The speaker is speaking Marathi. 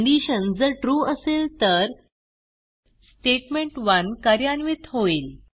कंडिशन जर ट्रू असेल तर स्टेटमेंट1 कार्यान्वित होईल